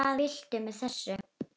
Hvað viltu með þessu?